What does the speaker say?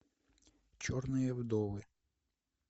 черные вдовы